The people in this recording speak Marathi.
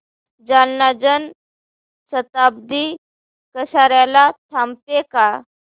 जालना जन शताब्दी कसार्याला थांबते का